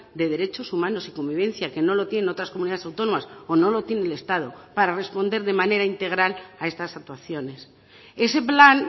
de derechos humanos y convivencia que no lo tienen otras comunidades autónomas o no lo tiene el estado para responder de manera integral a estas actuaciones ese plan